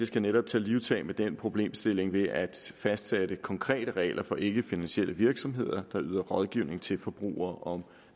skal netop tage livtag med den problemstilling ved at fastsætte konkrete regler for ikkefinansielle virksomheder der yder rådgivning til forbrugere om